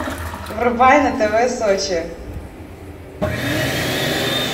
врубай на тв сочи